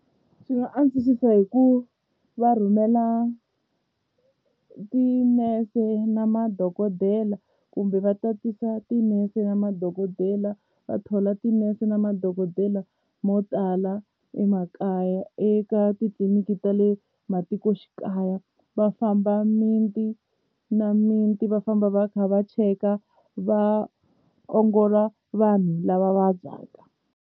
Swi nga antswisa hi ku va rhumela tinese na madokodela kumbe va tatisa tinese na madokodela va thola tinese na madokodela mo tala emakaya eka titliliniki ta le matikoxikaya va famba miti na miti va famba va kha va cheka va ongola vanhu lava vabyaka.